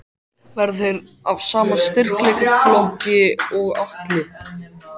Verða þeir af sama styrkleikaflokki og Atli?